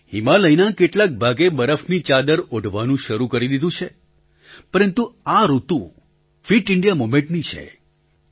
હિમાલયના કેટલાક ભાગે બરફની ચાદર ઓઢવાનું શરૂ કરી દીધું છે પરંતુ આ ઋતુ ફિટ ઇન્ડિયા મૂવમેન્ટની છે